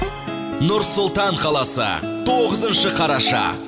нұр сұлтан қаласы тоғызыншы қараша